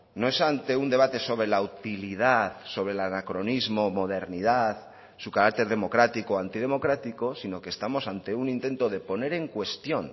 no es ante un debate sobre la utilidad sobre el anacronismo modernidad su carácter democrático o antidemocráticos sino que estamos ante un intento de poner en cuestión